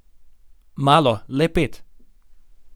Malo, le pet.